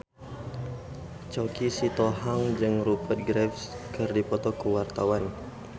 Choky Sitohang jeung Rupert Graves keur dipoto ku wartawan